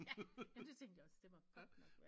Ja men det tænkte jeg også det må godt nok være